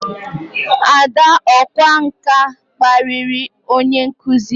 Ada ọkwá nkà kparịrị onye nkụzi ya